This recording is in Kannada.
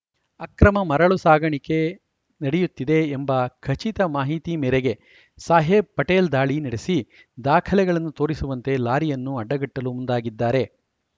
ಅಕ್ರಮ ಮರಳು ಸಾಗಾಣಿಕೆ ನಡೆಯುತ್ತಿದೆ ಎಂಬ ಖಚಿತ ಮಾಹಿತಿ ಮೇರೆಗೆ ಸಾಹೇಬ್‌ ಪಟೇಲ್‌ ದಾಳಿ ನಡೆಸಿ ದಾಖಲೆಗಳನ್ನು ತೋರಿಸುವಂತೆ ಲಾರಿಯನ್ನು ಅಡ್ಡಗಟ್ಟಲು ಮುಂದಾಗಿದ್ದಾರೆ